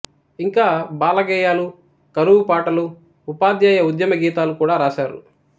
ఇంకా బాల గేయాలు కరువు పాటలు ఉపాధ్యాయ ఉద్యమ గీతాలు కూడా రాశారు